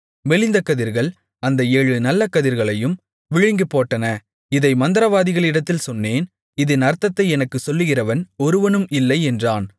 மெலிந்த கதிர்கள் அந்த ஏழு நல்ல கதிர்களையும் விழுங்கிப்போட்டன இதை மந்திரவாதிகளிடத்தில் சொன்னேன் இதின் அர்த்தத்தை எனக்கு சொல்லுகிறவன் ஒருவனும் இல்லை என்றான்